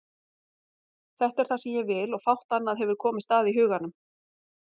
Þetta er það sem ég vil og fátt annað hefur komist að í huganum.